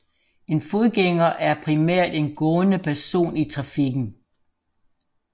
En fodgænger er primært en gående person i trafikken